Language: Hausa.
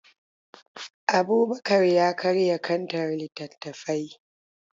Abubakar ya karya kantar littattafai.